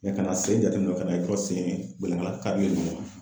Mɛ ka na a sen jateminɛ ka n'a ye dɔrɔn sen gɛnlɛngala karilen ka bɔ ɲɔgɔn na